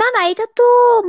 না না এটাতো